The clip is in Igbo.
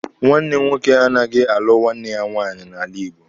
Nwanne nwoke anaghị alụ nwanne ya nwaanyị n'ala Igbo.